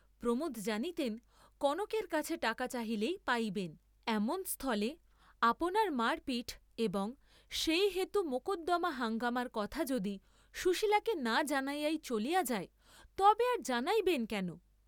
প্রমোদ জানিতেন কনকের কাছে টাকা চাহিলেই পাইবেন, এমন স্থলে আপনার মার পিঠ এবং সেই হেতু মকদ্দমা হাঙ্গামার কথা যদি সুশীলাকে না জানাইয়াই চলিয়া যায় তবে আর জানাইবেন কেন?